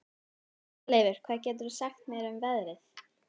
Herleifur, hvað geturðu sagt mér um veðrið?